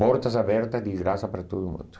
Portas abertas de graça para todo mundo.